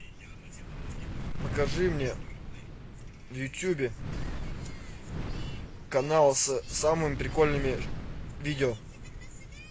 покажи мне в ютубе канал с самыми прикольными видео